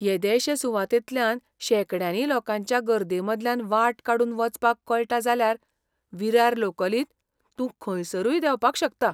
येदेशे सुवातेंतल्यान शेंकड्यांनी लोकांच्या गर्देमदल्यान वाट काडून वचपाक कळटा जाल्यार विरार लोकलींत तूं खंयसरूय देंवपाक शकता.